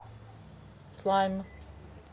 слайм